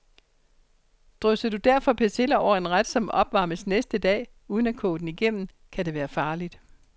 Drysser du derfor persille over en ret, som opvarmes næste dag, uden at koge den igennem, kan det være farligt.